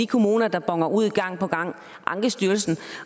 kommuner der boner ud gang på gang ankestyrelsen